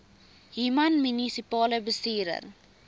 human munisipale bestuurder